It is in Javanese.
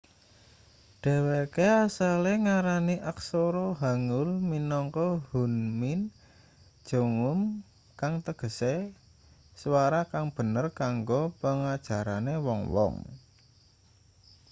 dheweke asale ngarani aksara hangeul minangka hunmin jeongum kang tegese swara kang bener kanggo pengajarane wong-wong